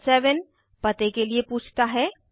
item 7 पते के लिए पूछता है